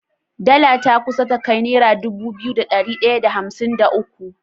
Dala ta kusa ta kai naira Dubu biyu da dari daya da hamsin da uku